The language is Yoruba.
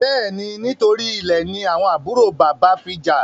Béèni, nítorí Ilè ní àwọn àbúrò bàbá fí já.